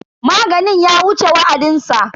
Maganin ya wuce wa'adinsa.